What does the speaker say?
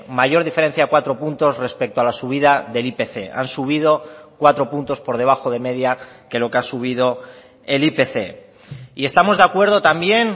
mayor diferencia cuatro puntos respecto a la subida del ipc han subido cuatro puntos por debajo de media que lo que ha subido el ipc y estamos de acuerdo también